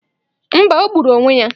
Mba, o gburu onwe ya.